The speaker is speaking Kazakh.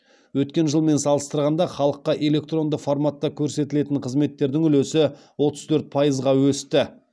өткен жылмен салыстырғанда халыққа электронды форматта көрсетілген қызметтердің үлесі отыз төрт пайызға өсті